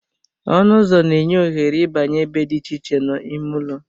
Ọnụ ụzọ na-enye ohere ịbanye ebe dị iche iche n'ime ụlọ